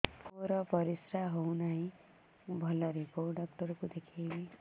ମୋର ପରିଶ୍ରା ହଉନାହିଁ ଭଲରେ କୋଉ ଡକ୍ଟର କୁ ଦେଖେଇବି